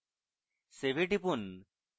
save এ টিপুন